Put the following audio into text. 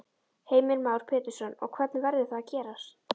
Heimir Már Pétursson: Og hvernig verður það gerst?